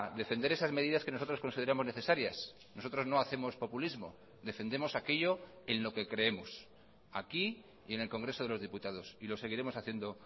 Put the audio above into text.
defender esas medidas que nosotros consideramos necesarias nosotros no hacemos populismo defendemos aquello en lo que creemos aquí y en el congreso de los diputados y lo seguiremos haciendo